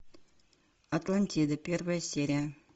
атлантида первая серия